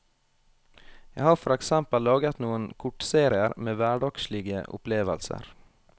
Jeg har for eksempel laget noen kortserier med hverdagslige opplevelser.